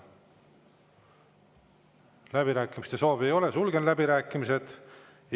Läbirääkimiste soovi ei ole, sulgen läbirääkimised.